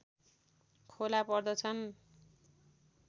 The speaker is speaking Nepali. खोला पर्दछन्